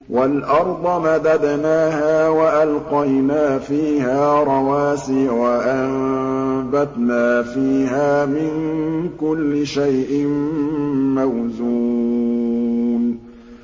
وَالْأَرْضَ مَدَدْنَاهَا وَأَلْقَيْنَا فِيهَا رَوَاسِيَ وَأَنبَتْنَا فِيهَا مِن كُلِّ شَيْءٍ مَّوْزُونٍ